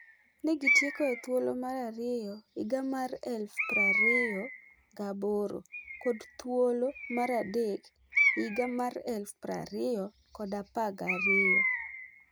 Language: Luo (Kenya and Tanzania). Ne gi tieko e thuolo mar ariyo higa mar 2008 kod thuolo mar adek higa mar 2012